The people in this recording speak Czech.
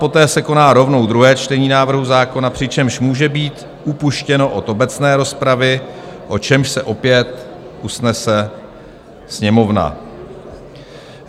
Poté se koná rovnou druhé čtení návrhu zákona, přičemž může být upuštěno od obecné rozpravy, o čemž se opět usnese Sněmovna."